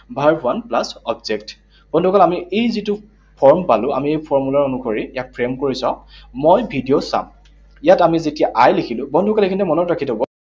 Verb one plus object, বন্ধুসকল আমি এই যিটো form পালো, আমি এই formula অনুসৰি ইয়াক frame কৰি চাওঁ। মই ভিডিঅ চাম। ইয়াত আমি যেতিয়া I লিখিলো, বন্ধুসকল এইখিনিতে মনত ৰাখি থব।